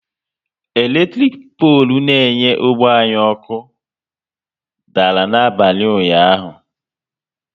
Eletirik polu n'enye ógbè anyị niile ọkụ dara n'abalị ụnyaahụ